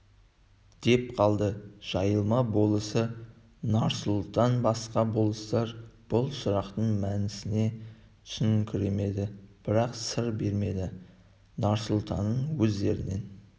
деп қалды жайылма болысы нарсұлтан басқа болыстар бұл сұрақтың мәніне түсініңкіремеді бірақ сыр бермеді нарсұлтанның өздерінен